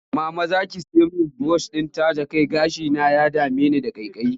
Mama za ki sai min sabon burushin taje kai? Gashina ya dame ni da ƙaiƙayi